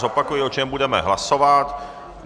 Zopakuji, o čem budeme hlasovat.